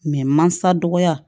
mansa dɔgɔya